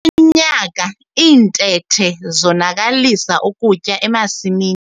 Kulo nyaka iintethe zonakalisa ukutya emasimini.